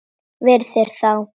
Virðir þá.